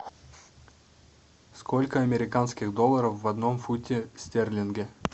сколько американских долларов в одном фунте стерлинге